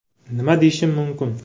“Nima deyishim mumkin?